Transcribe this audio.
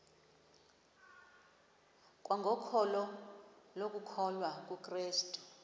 kwangokholo lokukholwa kukrestu